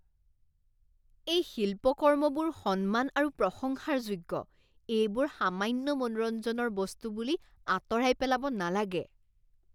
এই শিল্পকৰ্মবোৰ সন্মান আৰু প্ৰশংসাৰ যোগ্য, এইবোৰ সামান্য মনোৰঞ্জনৰ বস্তু বুলি আঁতৰাই পেলাব নালাগে।